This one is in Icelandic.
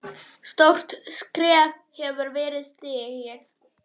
Stórt skref hefur verið stigið.